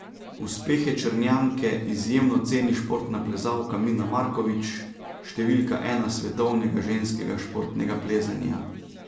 Uspehe Črnjanke izjemno ceni športna plezalka Mina Markovič, številka ena svetovnega ženskega športnega plezanja.